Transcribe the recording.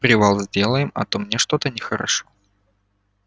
привал сделаем а то мне что-то нехорошо